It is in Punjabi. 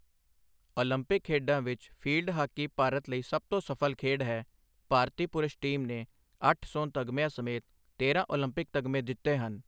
ਓਲੰਪਿਕ ਖੇਡਾਂ ਵਿੱਚ ਫੀਲਡ ਹਾਕੀ ਭਾਰਤ ਲਈ ਸਭ ਤੋਂ ਸਫਲ ਖੇਡ ਹੈ, ਭਾਰਤੀ ਪੁਰਸ਼ ਟੀਮ ਨੇ ਅੱਠ ਸੋਨ ਤਗਮਿਆਂ ਸਮੇਤ ਤੇਰ੍ਹਾਂ ਓਲੰਪਿਕ ਤਗਮੇ ਜਿੱਤੇ ਹਨ।